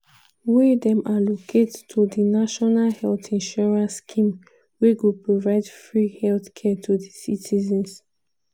wey dem allocate to di national health insurance scheme wey go provide free healthcare to di citizens.